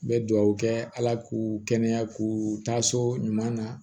N bɛ dugawu kɛ ala k'u kɛnɛya k'u taa so ɲuman na